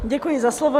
Děkuji za slovo.